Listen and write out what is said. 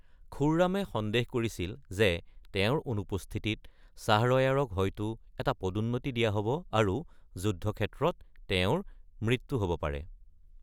খুৰ্ৰামে সন্দেহ কৰিছিল যে তেওঁৰ অনুপস্থিতিত শ্বাহৰয়াৰক হয়তো এটা পদোন্নতি দিয়া হ’ব আৰু যুদ্ধক্ষেত্ৰত তেওঁৰ মৃত্যু হ’ব পাৰে।